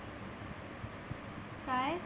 काय?